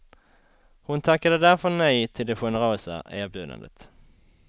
Hon tackade därför nej till det generösa erbjudandet.